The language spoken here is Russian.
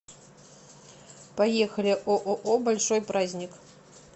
поехали ооо большой праздник